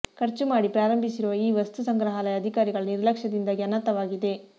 ಖರ್ಚು ಮಾಡಿ ಪ್ರಾರಂಭಿಸಿರುವ ಈ ವಸ್ತು ಸಂಗ್ರಹಾಲಯ ಅಧಿಕಾರಿಗಳ ನಿರ್ಲಕ್ಷ್ಯದಿಂದಾಗಿ ಅನಾಥವಾಗಿದೆ